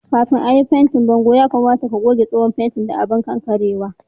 Kafin à yi fentin bongon' ,ya kamata ka goge tsohon fentin da abun kankarewa.